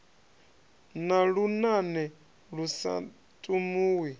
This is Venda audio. na lunane lu sa tumuwi